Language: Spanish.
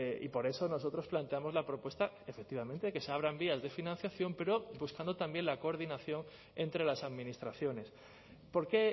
y por eso nosotros planteamos la propuesta efectivamente que se abran vías de financiación pero buscando también la coordinación entre las administraciones por qué